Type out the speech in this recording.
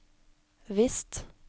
visst